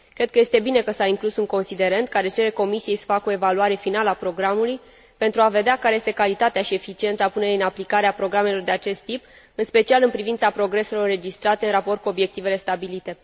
Cred că este bine că s a inclus un considerent care cere Comisiei să facă o evaluare finală a programului pentru a vedea care este calitatea și eficiența punerii în aplicare a programelor de acest tip, în special în privința progreselor înregistrate în raport cu obiectivele stabilite.